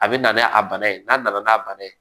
A bɛ na n'a a bana ye n'a nana n'a bana ye